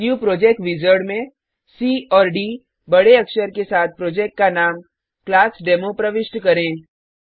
new project wizard में C और D बडे अक्षर के साथ प्रोजेक्ट का नाम क्लासडेमो प्रविष्ट करें